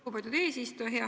Lugupeetud eesistuja!